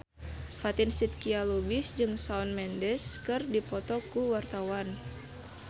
Fatin Shidqia Lubis jeung Shawn Mendes keur dipoto ku wartawan